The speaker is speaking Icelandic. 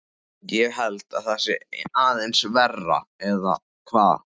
Ég held að það sé aðeins verra, eða hvað?